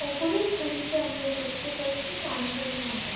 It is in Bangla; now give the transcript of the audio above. উপরের ছবিতে আমরা দেখতে পাচ্ছি কাঞ্চনজঙ্গা।